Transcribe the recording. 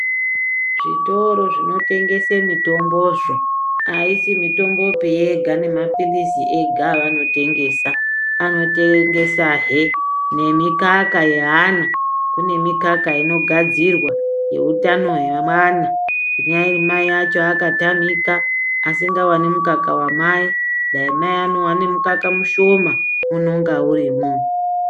Zvitoro zvinotengengese mitombozvo haisi mitombopi yega nemaphirisi ega avanotengesa. Anotengesahe nemikaka yeana kune mikaka inogadzirwa yeutano hwemwana kunyari mai vacho vakatamika asingavani mumukaka vamai. Dai mai anovane mukaka mushoma unonga urimo.